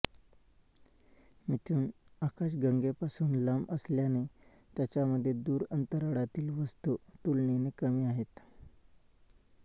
मिथुन आकाशगंगेपासून लांब असल्याने त्याच्यामध्ये दूर अंतराळातील वस्तू तुलनेने कमी आहेत